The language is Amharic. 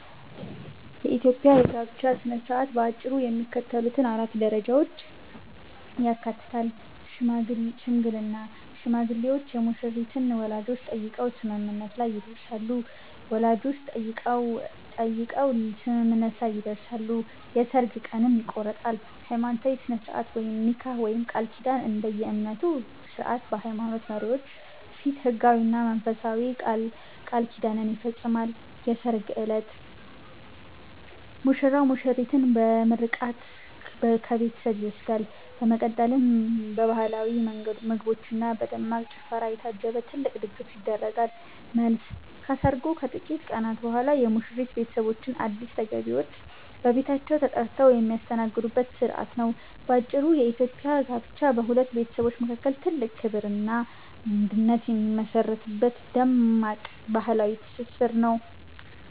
የኢትዮጵያ የጋብቻ ሥነ ሥርዓት በአጭሩ የሚከተሉትን 4 ደረጃዎች ያካትታል፦ ሽምግልና፦ ሽማግሌዎች የሙሽሪትን ወላጆች ጠይቀው ስምምነት ላይ ይደርሳሉ፤ የሠርግ ቀንም ይቆረጣል። ሃይማኖታዊ ሥርዓት (ኒካህ/ቃል ኪዳን)፦ እንደየእምነቱ ሥርዓት በሃይማኖት መሪዎች ፊት ሕጋዊና መንፈሳዊ ቃል ኪዳን ይፈጸማል። የሠርግ ዕለት፦ ሙሽራው ሙሽሪትን በምርቃት ከቤቷ ይወስዳል፤ በመቀጠልም በባህላዊ ምግቦችና በደማቅ ጭፈራ የታጀበ ትልቅ ድግስ ይደረጋል። መልስ፦ ከሰርጉ ከጥቂት ቀናት በኋላ የሙሽሪት ቤተሰቦች አዲስ ተጋቢዎችን በቤታቸው ጠርተው የሚያስተናግዱበት ሥርዓት ነው። ባጭሩ፤ የኢትዮጵያ ጋብቻ በሁለት ቤተሰቦች መካከል ትልቅ ክብርና አንድነት የሚመሠረትበት ደማቅ ባህላዊ ትስስር ነው።